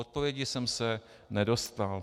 Odpovědi jsem se nedočkal.